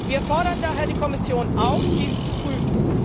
Wir fordern daher die Kommission auf, dies zu prüfen.